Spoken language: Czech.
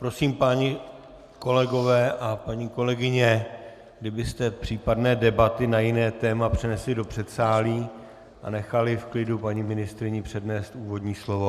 Prosím, páni kolegové a paní kolegyně, kdybyste případné debaty na jiné téma přenesli do předsálí a nechali v klidu paní ministryni přednést úvodní slovo.